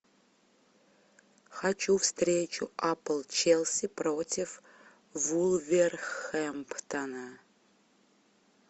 хочу встречу апл челси против вулверхэмптона